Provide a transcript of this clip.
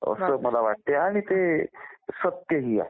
असं मला वाटतंय आणि ते सत्य ही आहे